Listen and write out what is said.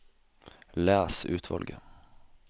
Les utvalget